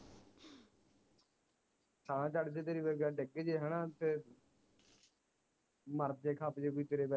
ਸਾਹ ਚੜ ਜੇ ਤੇਰੇ ਵਰਗੇ ਡਿਗ ਜੇ ਹਣਾ ਤੇ ਮਰ ਜੇ ਖਪ ਜੇ ਕੋਈ ਤੇਰੇ ਵਰ